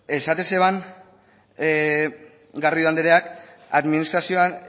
esaten zeban garrido andreak administrazioan